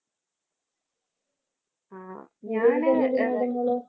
ആ ഞാന്